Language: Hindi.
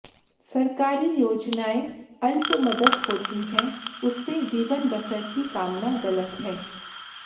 सरकारी योजनाएं अल्प मदद होती है उससे जीवन बसर की कामना गलत है